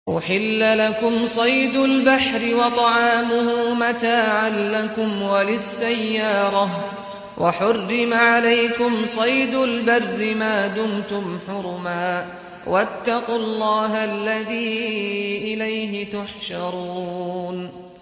أُحِلَّ لَكُمْ صَيْدُ الْبَحْرِ وَطَعَامُهُ مَتَاعًا لَّكُمْ وَلِلسَّيَّارَةِ ۖ وَحُرِّمَ عَلَيْكُمْ صَيْدُ الْبَرِّ مَا دُمْتُمْ حُرُمًا ۗ وَاتَّقُوا اللَّهَ الَّذِي إِلَيْهِ تُحْشَرُونَ